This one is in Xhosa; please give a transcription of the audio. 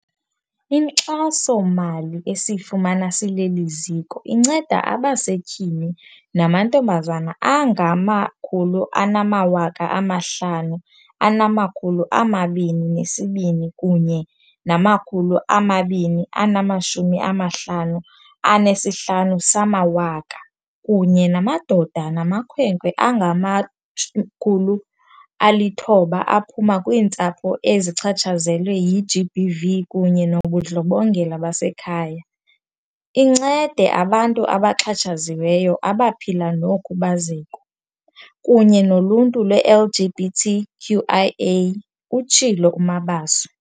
Inkxaso-mali esiyifumana sileli ziko inceda abasetyhini namantombazana angama-522 255 kunye namadoda namakhwenkwe angama-900 aphuma kwiintsapho ezichatshazelwe yi-GBV kunye nobundlobongela basekhaya, incede abantu abaxhatshaziweyo abaphila nokhubazeko, kunye noluntu lwe-LGBT QIAplus, utshilo uMabaso.